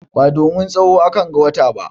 Ba domin tsawo akan ga wata ba.